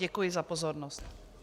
Děkuji za pozornost.